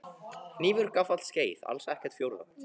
Hnífur gaffall skeið alls ekkert fjórða?